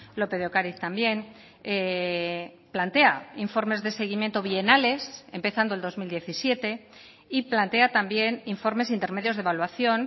lópez de ocariz también plantea informes de seguimiento bienales empezando el dos mil diecisiete y plantea también informes intermedios de evaluación